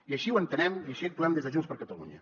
i així ho entenem i així actuem des de junts per catalunya